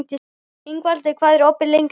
Ingvaldur, hvað er opið lengi á mánudaginn?